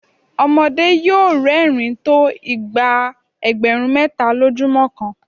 ọmọdé yóò rẹ́rìn-ín tó ìgbà ẹgbẹ̀rún méta lójúmọ́ kan.